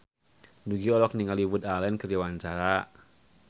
Nugie olohok ningali Woody Allen keur diwawancara